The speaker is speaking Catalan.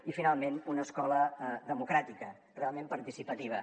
i finalment una escola democràtica realment participativa